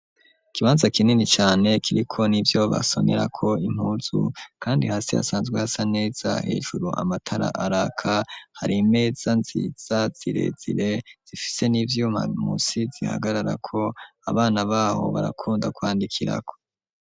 Ikibanza kinini cane kiri ko nivyo basonerako impuzu, kandi hasi hasanzwe hasa neza hejuru amatara araka hari imeza nziza zirezire zifise n'ivyuma musi zihagarara ko abana baho barakunda kwandikirako.